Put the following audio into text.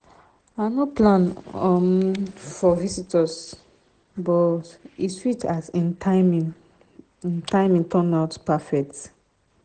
i no plan um for visitors but e sweet as him timing him timing turn out perfect.